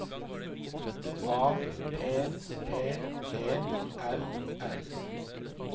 A P P E L L